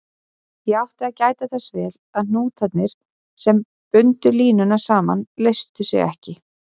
Ég átti að gæta þess vel að hnútarnir, sem bundu línuna saman, létu sig ekki.